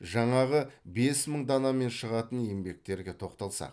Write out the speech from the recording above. жаңағы бес мың данамен шығатын еңбектерге тоқталсақ